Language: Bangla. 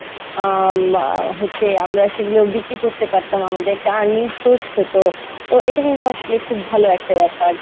আহ মা হচ্ছে আমরা সেইগুলো বিক্রি করতে পারতাম আমাদের একটা earning source হতো তো এটা কিন্তু আসলে খুব ভালো একটা ব্যাপার